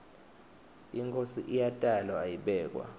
inkhosi iyatalwa ayibekwa